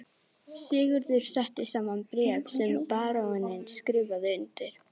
Sigurður setti saman bréf sem baróninn skrifaði undir.